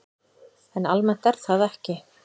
En almennt er það ekki.